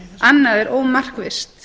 annað er ómarkvisst